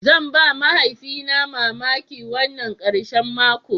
Zan ba mahaifina na mamaki wannan karshen mako.